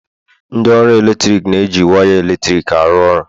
ndị ọrụ eletrik na-eji waya eletrik arụ ọrụ